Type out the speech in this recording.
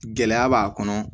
Gɛlɛya b'a kɔnɔ